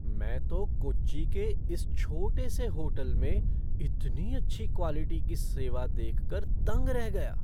मैं तो कोच्चि के इस छोटे से होटल में इतनी अच्छी क्वालिटी की सेवा देख कर दंग रह गया!